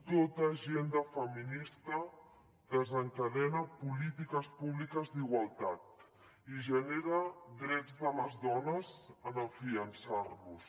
tota agenda feminista desencadena polítiques públiques d’igualtat i genera drets de les dones en fiançar los